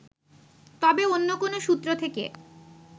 তবে অন্য কোন সূত্র থেকে